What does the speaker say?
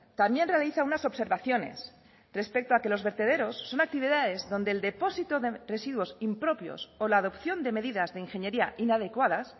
también realiza unas observaciones respecto a que los vertederos son actividades donde el depósito de residuos impropios o la adopción de medidas de ingeniería inadecuadas